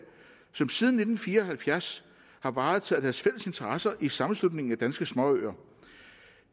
som siden nitten fire og halvfjerds har varetaget deres fælles interesser i sammenslutningen af danske småøer